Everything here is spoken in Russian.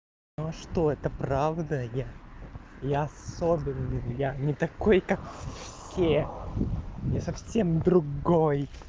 ну а что это правда я я особенный я не такой как все я совсем другой